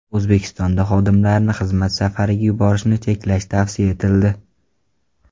O‘zbekistonda xodimlarni xizmat safarlariga yuborishni cheklash tavsiya etildi.